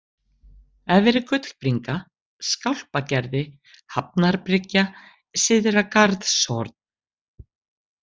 Efri Gullbringa, Skálpagerði, Hafnarbryggja, Syðra-Garðshorn